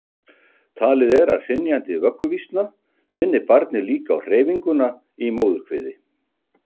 talið er að hrynjandi vögguvísna minni barnið líka á hreyfinguna í móðurkviði